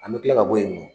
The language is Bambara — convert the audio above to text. An bɛ tila ka bɔ yen nɔ